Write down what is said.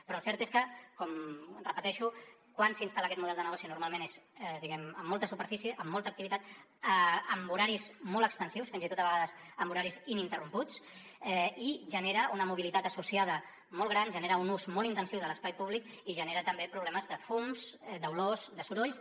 però el cert és que ho repeteixo quan s’instal·la aquest model de negoci normalment és diguem ne amb molta superfície amb molta activitat amb horaris molt extensius fins i tot a vegades amb horaris ininterromputs i genera una mobilitat associada molt gran genera un ús molt intensiu de l’espai públic i genera també problemes de fums d’olors de sorolls